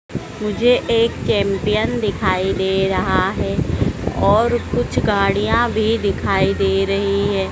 मुझे एक चैंपियन दिखाई दे रहा है और कुछ गाड़ियां भी दिखाई दे रही हैं।